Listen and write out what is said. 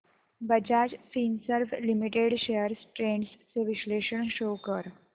Bajaj Finserv limited shares trends चे विश्लेषण show कर